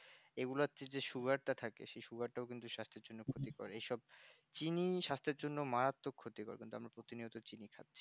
এগুলোতে যে sugar টা থাকে sugar কিন্তু স্বাস্থ্যের জন্য খুব ক্ষতিকর সব চিনি স্বাস্থ্যের জন্য মারাত্মক ক্ষতিকর প্রতিদিনই চিনি খাচ্ছি